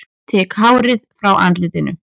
Tek hárið frá andlitinu.